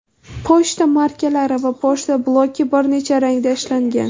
Pochta markalari va pochta bloki bir necha rangda ishlangan.